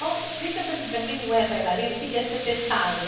Bom, explica para quem não é bailarina o que é ser fechado.